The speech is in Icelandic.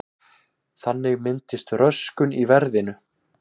Þannig myndist röskun í verðinu.